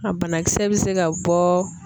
A banakisɛ bɛ se ka bɔ